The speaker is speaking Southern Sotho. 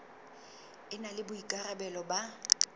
e na le boikarabelo ba